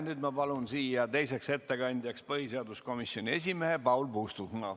Nüüd ma palun siia teiseks ettekandjaks põhiseaduskomisjoni esimehe Paul Puustusmaa.